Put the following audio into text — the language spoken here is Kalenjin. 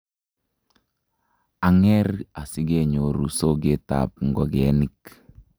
ang'er asikenyoru soketab ngokenik